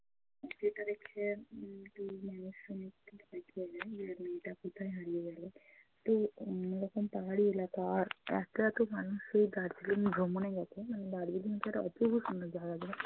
যেটা দেখে উম যে মেয়েটা কোথায় হারিয়ে গেলো। তো অন্যরকম পাহাড়ি এলাকা আর রাস্তায় এতো এতো মানুষ ওই দার্জিলিং ভ্রমণে গেছে মানে দার্জিলিং তো একটা অপূর্ব সুন্দর জায়গা।